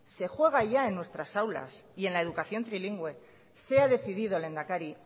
se juega ya en nuestras aulas y en la educación trilingüe sea decidido lehendakari